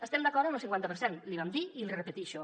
estem d’acord amb lo cinquanta per cent l’hi vam dir i l’hi repeteixo